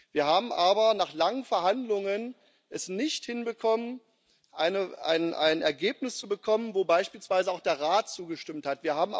Wir haben es aber nach langen Verhandlungen nicht hinbekommen, ein Ergebnis zu bekommen, dem beispielsweise auch der Rat zugestimmt hat.